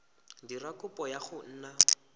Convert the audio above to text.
dira kopo ya go nna